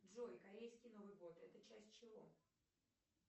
джой корейский новый год это часть чего